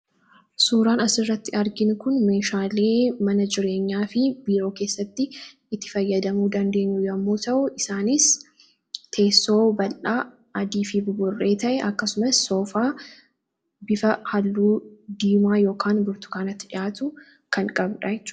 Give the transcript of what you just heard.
suuraan asirratti argin kun meeshaalee mana jireenyaa fi biroo keessatti itti fayyadamuu dandeenyu yommuu ta'u, isaanis teessoo bal'aa adii fi buburree ta'e akkasumas soofaa bifa halluu diimaa ykn burtukaanatti dhihaatu kan qabudha.